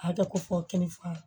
A kɛ ko fɔ kɛnɛ fa